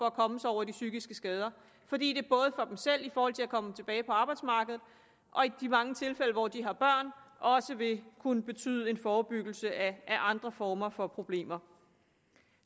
at komme sig over de psykiske skader fordi det både for dem selv i forhold til at komme tilbage på arbejdsmarkedet og i de mange tilfælde hvor de har børn også vil kunne betyde en forebyggelse af andre former for problemer